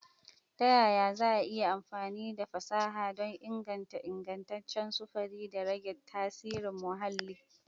Ta yaya za a yi amfani da fasaha don inganta ingantaccen sufuri da rage tasirin muhalli?